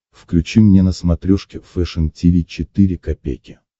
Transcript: включи мне на смотрешке фэшн ти ви четыре ка